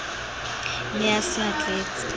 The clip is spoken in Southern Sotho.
ne a se a tletse